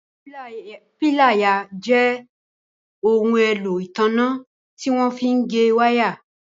Píláyà jẹ́ ohun èlò ìtanná tí wọ́n fí ń gé wáà.